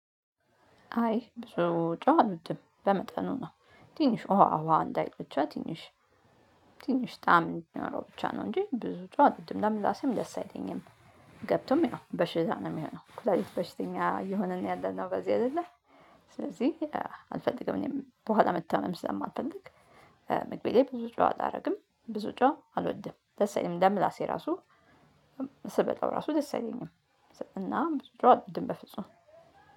አይ ብዙ ጮህ አልወድም በመጠኑ ነው ትንሽ ውሃ ውሃ እንዳይል ብቻ ትንሽ ትንሽ ጣዕም እንዲኖረው ብቻ ነው እንጂ ብዙ ጨው አልወድም ለምን ለራሴም ደስ አይለኝም። ገብቶም ያው በሽታ ነው የሚሆነው ኩላሊት በሽተኛ እየሆነን ነው ያለነው በዚህ አይደለ። ስለዚህ አልፈልግም እኔም በኋላ መታመም ስለማልፈልግ። መግቤ ላይ ብዙ ጨው አላደርግም ብዙ ጨው አልወድም። ደስ አይለኝም ለምላሴ ራሱ ስበላው ራሱ ደስ አይለኝም። እና ብዙ ጨው አልወድም በፍጹም